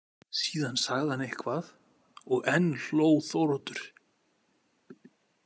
Síðan sagði hann eitthvað og enn hló Þóroddur.